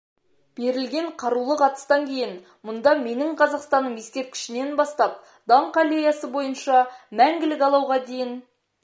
берілген қарулық атыстан кейін мұнда менің қазақстаным ескерткішінен бастап даңқ аллеясы бойынша мәңгілік алауға дейін